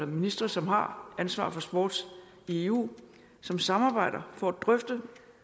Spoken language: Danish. ministre som har ansvar for sport i eu som samarbejder for at drøfte